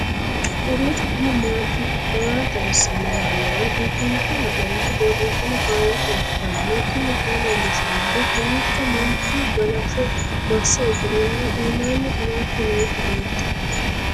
kowiicho xuma mtini maa xawissanno yaannohura biifinse haa'noonniti qooxeessano faayya kultanno tini kayi leellishshannori kawiicho manchu galashsho masse usureenna iimanni qamalcho nooti leeltanno